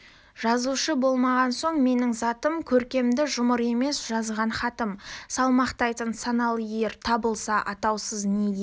жазушы болмаған соң менің затым көркемді жұмыр емес жазған хатым салмақтайтын саналы ер табылса атаусыз неге